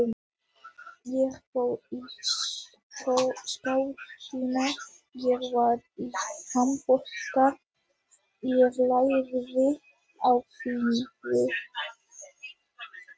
Ég fór í skátana, ég var í handbolta, ég lærði á fiðlu.